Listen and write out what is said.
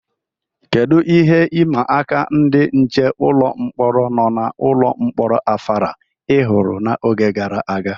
Kedu ihe ịma aka ndị nche ụlọ mkpọrọ nọ n'ụlọ mkpọrọ Afara ihuru n'oge gara aga?